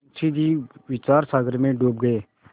मुंशी जी विचारसागर में डूब गये